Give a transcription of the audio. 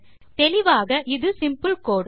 தெளிவாக இது சிம்பிள் கோடு